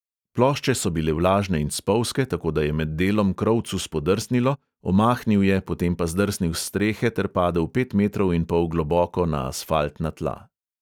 Plošče so bile vlažne in spolzke, tako da je med delom krovcu spodrsnilo, omahnil je, potem pa zdrsnil s strehe ter padel pet metrov in pol globoko na asfaltna tla.